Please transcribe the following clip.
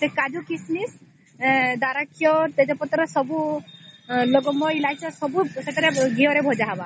ସେ କାଜୁ କିସ ମିସ ଦାରାକ୍ଷା ସେ ତେଜ ପତ୍ର ଲବଙ୍ଗ ଇଲାଇଛ ସବୁ ସେଥିରେ ଘିଅ ରେ ଭଜା ହେବ